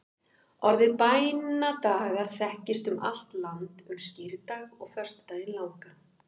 orðið bænadagar þekkist um allt land um skírdag og föstudaginn langa